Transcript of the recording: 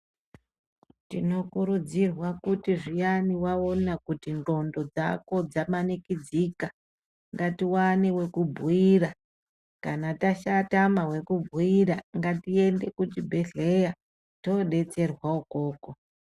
Tinokurudzirwa kuti zviyani waona kuti ndxondo dzako dzamanikidzika ngatiwane wekubhuira. Kana tatama wekubhuira ngatiende kuchibhedhlera toodetserwa ukoko.